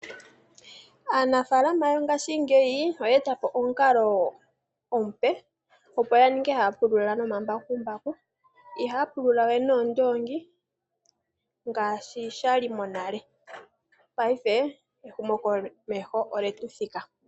Aanafaalama yongashingeyi oya eta po omukalo omupe opo ya ninge haya pulula nomambakumbaku. Ihaya pululawe noondoongi ngaashi sha li monale. Paife ehumokomeho olye tu thika.